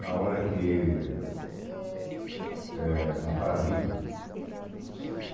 Na hora que... Eh na Paraíba.